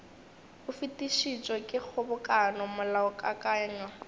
o fetišitšwe ke kgobokano molaokakanywa